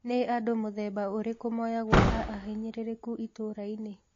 Nĩ andũ mũthemba ũrĩkũ moyagwo ta ahinyĩrĩrĩku itũra-inĩ